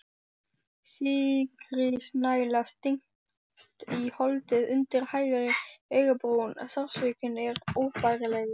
Sikkrisnæla stingst í holdið undir hægri augabrún, sársaukinn er óbærilegur.